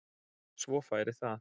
Svo færi það.